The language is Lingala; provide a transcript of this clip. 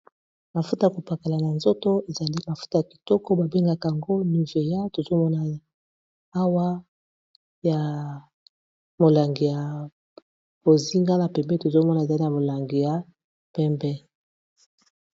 Mafuta ya kopakala na nzoto ezali mafuta ya kitoko babengaka yango niveya tozomona awa ya molangi ya bozingana pembeni tozomona ezali ya molangi ya pembe.